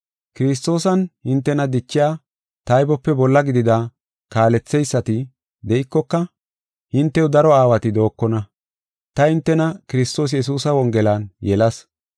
Kiristoosan hintena dichiya taybope bolla gidida kaaletheysati de7ikoka, hintew daro aawati dookona. Ta hintena Kiristoos Yesuusa wongelan yelas.